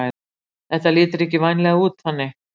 Þetta lítur ekki vænlega út þannig